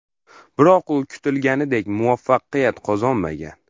Biroq u kutilganidek muvaffaqiyat qozonmagan.